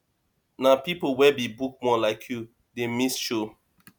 na pipo wey be bookworm like you dey miss show